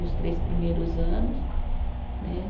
Nos três primeiros anos, né?